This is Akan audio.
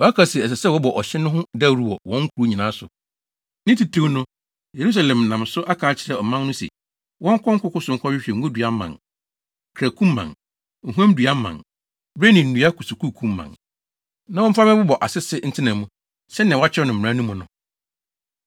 Waka se, ɛsɛ sɛ wɔbɔ ɔhyɛ no ho dawuru wɔ wɔn nkurow nyinaa so, ne titirw no, Yerusalem nam so aka akyerɛ ɔmanfo no se, wɔnkɔ nkoko so nkɔhwehwɛ ngodua mman, kranku mman, ohuamnnua mman, bere ne nnua kusukusuu mman, na wɔmfa mmɛbobɔ asese ntena mu, sɛnea wɔakyerɛw no mmara no mu no.